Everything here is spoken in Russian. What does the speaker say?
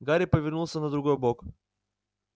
гарри повернулся на другой бок